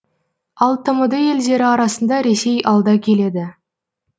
ал тмд елдері арасында ресей алда келеді